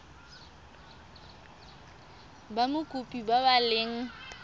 ba mokopi ba ba leng